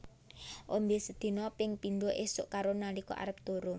Ombe sedina ping pindho esuk karo nalika arep turu